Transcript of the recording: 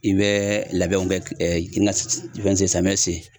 I bɛ labɛnw kɛ samiyɛn se.